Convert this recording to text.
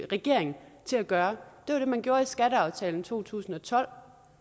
regering til at gøre det var det man gjorde i skatteaftalen i to tusind og tolv